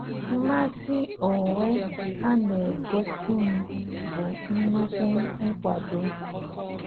Mmasị onwe ha na-egosi m bụ nnukwu nkwado.